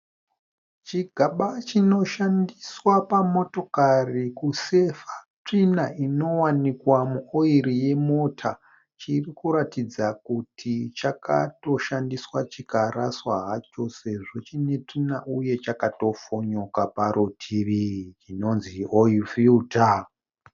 Chigaba chinoshandiswa pamotokari kusevha tsvina inowanikwa muoiri yemota. Chirikutoratidza kuti chakatoshandiswa chikaraswa hacho sezvo chiine tsvina uye chakatofonyoka parutivi. Inonzi oil filter.